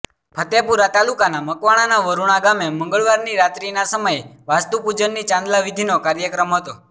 ફતેપુરા તાલુકાના મકવાણાના વરૃણા ગામે મંગળવારની રાત્રીના સમયે વાસ્તુ પૂજનની ચાંદલા વિધિનો કાર્યક્રમ હતો